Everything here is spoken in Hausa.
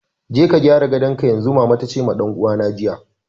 "Je ka gyara gadonka yanzu!" mama tace ma dan uwana jiya.